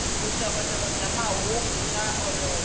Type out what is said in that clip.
vuxokoxoko bya mahungu swa olova